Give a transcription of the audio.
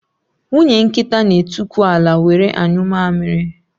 Nwunye nkịta n'etukwu ala were anyụ amịrị